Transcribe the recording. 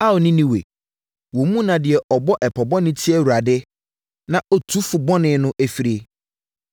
Ao, Ninewe, wo mu na deɛ ɔbɔ ɛpɔ bɔne tia Awurade na ɔtu fo bɔne no firie.